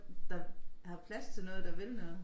Der har plads til noget der vil noget